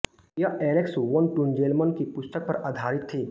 यह Alex von Tunzelmann की पुस्तक पर आधारित थी